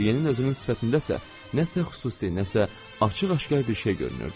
Deqriyenin özünün sifətindəsə nəsə xüsusi, nəsə açıq-aşkar bir şey görünürdü.